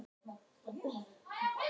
Neðsta kaupstað